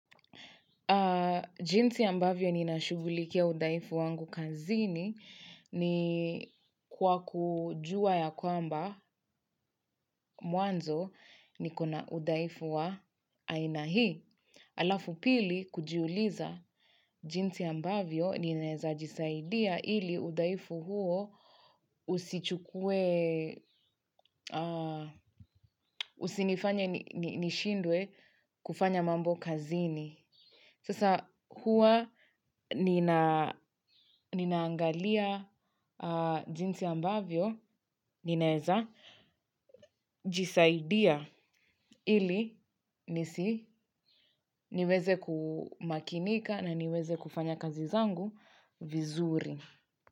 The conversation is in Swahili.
Jinsi ambavyo ninashughulikia udhaifu wangu kazini ni kwa kujua ya kwamba mwanzo nikona udhaifu wa aina hii. Alafu pili kujiuliza jinsi ambavyo ninaeza jisaidia ili udhaifu huo usichu usinifanye nishindwe kufanya mambo kazini. Sasa huwa nina ninaangalia jinsi ambavyo, ninaeza, jisaidia ili nisi niweze kumakinika na niweze kufanya kazi zangu vizuri.